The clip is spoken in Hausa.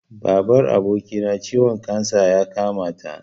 Babar abokina ciwon kansa ya kamata.